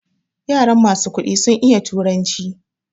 Yaran masu kuɗi sun iya turanci